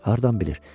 Hardan bilir?